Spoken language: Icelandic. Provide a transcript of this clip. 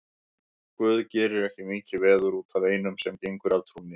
Guð gerir ekki mikið veður út af einum sem gengur af trúnni.